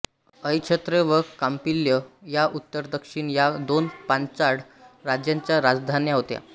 अहिच्छत्र व कांपिल्य या उत्तरदक्षिण या दोन पांचाळ राज्यांच्या राजधान्या होत्या